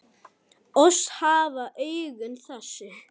Oss hafa augun þessi